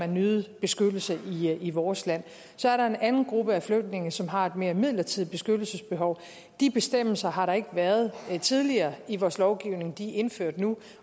nyde beskyttelse i vores land så er der en anden gruppe flygtninge som har et mere midlertidigt beskyttelsesbehov de bestemmelser har der ikke været tidligere i vores lovgivning de er indført nu